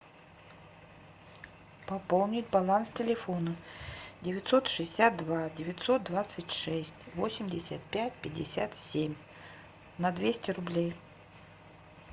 пополнить баланс телефона девятьсот шестьдесят два девятьсот двадцать шесть восемьдесят пять пятьдесят семь на двести рублей